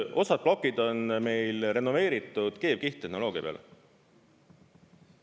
Osad plokid on meil renoveeritud keevkihttehnoloogia peale.